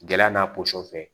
Gɛlɛya n'a fɛ